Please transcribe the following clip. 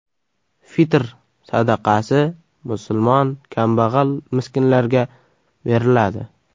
Fitr sadaqasi musulmon kambag‘al-miskinlarga beriladi .